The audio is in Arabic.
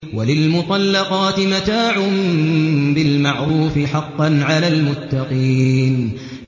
وَلِلْمُطَلَّقَاتِ مَتَاعٌ بِالْمَعْرُوفِ ۖ حَقًّا عَلَى الْمُتَّقِينَ